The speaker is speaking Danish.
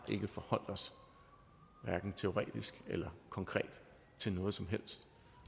forholdt os teoretisk eller konkret til noget som helst